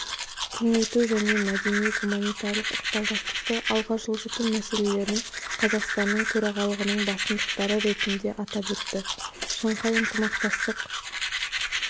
кеңейту және мәдени-гуманитарлық ықпалдастықты алға жылжыту мәселелерін қазақстанның төрағалығының басымдықтары ретінде атап өтті шанхай ынтымақтастық